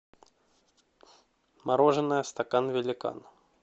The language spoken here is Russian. мороженое стакан великан